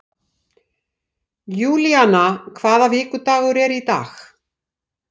Júlína, hvaða vikudagur er í dag?